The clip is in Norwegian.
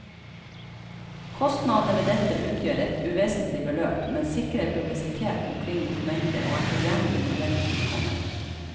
Kostnadene ved dette utgjør et uvesentlig beløp, men sikrer publisitet omkring dokumentet og er tilgjengelig når den tid kommer.